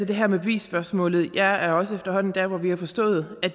det her med bevisspørgsmålet jeg er også efterhånden der hvor vi har forstået at